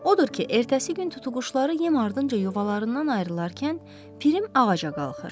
Odur ki, ertəsi gün tutuquşuları yem ardınca yuvalarından ayrılarkən Pirim ağaca qalxır.